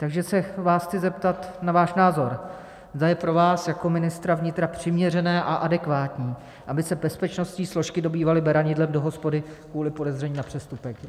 Takže se vás chci zeptat na váš názor, zda je pro vás jako ministra vnitra přiměřené a adekvátní, aby se bezpečnostní složky dobývaly beranidlem do hospody kvůli podezření na přestupek.